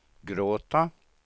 gråta